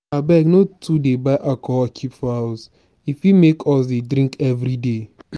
abeg no too buy alcohol keep for house e fit make us dey drink everyday.